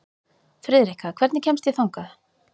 Friðrikka, hvernig kemst ég þangað?